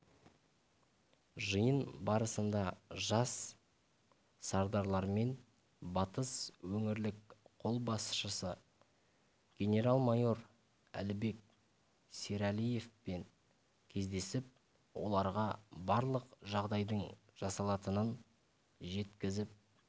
жиын барысында жас сардарлармен батыс өңірлік қолбасшысы генерал-майор әлібек серәлиев кездесіп оларға барлық жағдайдың жасалатынын жеткізіп